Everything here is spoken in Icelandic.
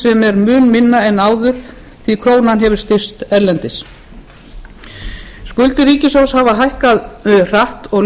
sem er mun minna en áður því krónan hefur styrkst erlendis skuldir ríkissjóðs hafa hækkað hratt og